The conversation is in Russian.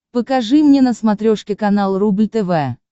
покажи мне на смотрешке канал рубль тв